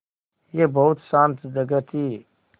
यह बहुत शान्त जगह थी